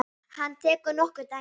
Hann tekur nokkur dæmi.